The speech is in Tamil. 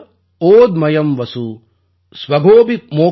அஷ்டௌ மாஸான் நிபீதம் யத் பூம்யா ச ஓத்மயம் வசு